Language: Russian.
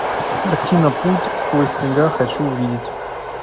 картина путь сквозь снега хочу увидеть